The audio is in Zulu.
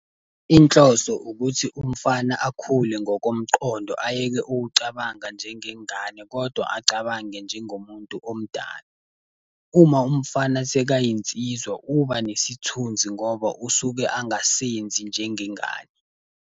Inhloso ukuthi umfana akhule ngokomqondo ayeke ukucabanga njengengane, kodwa acabange njengomuntu omdala. Uma umfana sekayinsizwa, uba nesithunzi ngoba usuke angasenzi njengengane.